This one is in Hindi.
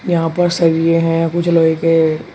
यहां पर सरिए हैं कुछ लोहे के।